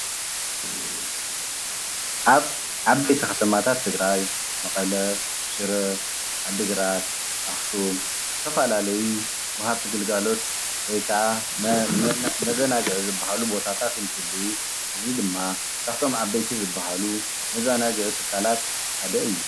ኣብ ዓበይቲ ኸተማታት ትግራይ መቐለ፣ ሽረ፣ ዓዲግራት፣ ኣኽሱም ዝተፈላለዩ ወሃብቲ ግልጋሎት ወይ ከዓ መዘናግዒ ዝብሃሉ ቦታታት እንትህልዉ እዚ ድማ ካብቶም ዓበይቲ ዝብሃሉ መዘናግዒ ትካላት ሓደ እዩ።